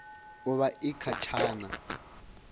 u vha i kha tshana